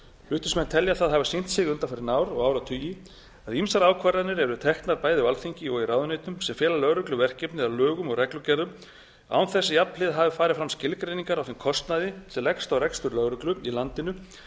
flutningsmenn telja það hafa sýnt sig undanfarin ár og áratugi að ýmsar ákvarðanir eru teknar bæði á alþingi og í ráðuneytum sem fela lögreglu verkefni að lögum og reglugerðum án þess að jafnhliða hafi farið fram skilgreiningar á þeim kostnaði sem leggst á rekstur lögreglu í landinu við